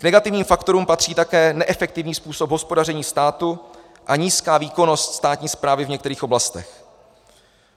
K negativním faktorům patří také neefektivní způsob hospodaření státu a nízká výkonnost státní správy v některých oblastech.